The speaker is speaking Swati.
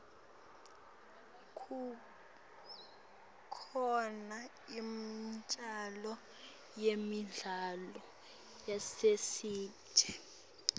kukhona imiculo yemidlalo yasesiteji